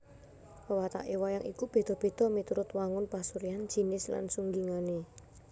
Wewataké wayang iku béda béda miturut wangun pasuryan jinis lan sunggingané